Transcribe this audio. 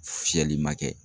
Fiyɛli ma kɛ.